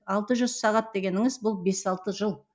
алты жүз сағат дегеніңіз бұл бес алты жыл